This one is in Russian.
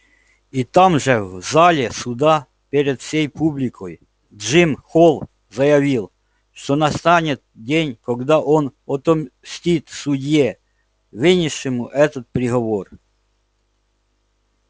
и там же в зале суда перед всей публикой джим холл заявил что настанет день когда он отомстит судье вынес ему этот приговор